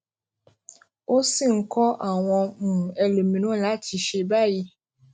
ó sì ń kó àwọn um ẹlòmíràn láti ṣe é báyìí